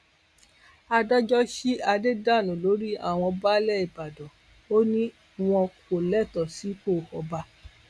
adájọ sí adé dànù lórí àwọn baálé ìbàdàn ò ní wọn kò lẹtọọ sípò ọba